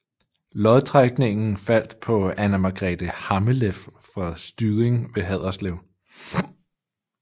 Lodtrækningen faldt på Anna Margrethe Hammeleff fra Styding ved Haderslev